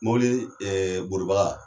Mobili bolibaga